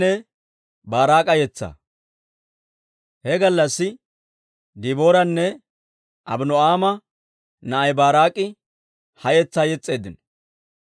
He gallassi Dibooranne Abino'aama na'ay Baaraak'i ha yetsaa yes's'eeddino.